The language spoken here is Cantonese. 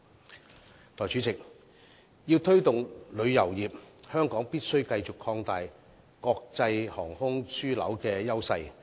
代理主席，要推動旅遊業，香港必須繼續擴大國際航空樞紐的優勢。